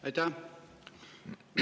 Aitäh!